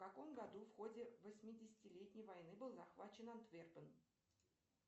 в каком году в ходе восьмидесятилетней войны был захвачен антверпен